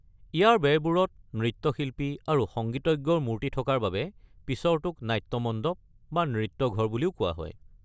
ইয়াৰ বেৰবোৰত নৃত্যশিল্পী আৰু সংগীতজ্ঞৰ মূৰ্তি থকাৰ বাবে পিছৰটোক নাট্য মণ্ডপ বা নৃত্য ঘৰ বুলিও কোৱা হয়।